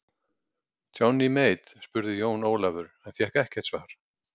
Johnny Mate spurði Jón Ólafur en fékk ekkert svar.